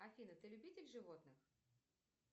афина ты любитель животных